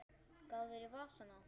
Gáðirðu í vasana?